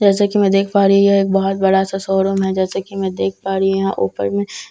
जैसे कि मैं देख पा रही हूं यह एक बहुत बड़ा सा शोरूम है जैसा कि मैं देख पा रही हूं यहां ऊपर में एक --